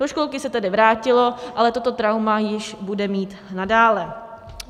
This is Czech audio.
Do školky se tedy vrátilo, ale toto trauma již bude mít nadále.